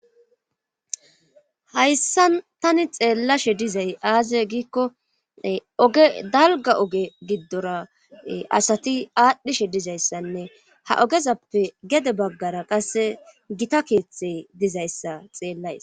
Hayssan tani xeellashe dizay aaze giikko oge dalga oge giddora asati aadhdhishe dizayssanne ha ogezappe gede baggara qasse gita keeththe dizayssa xeellays.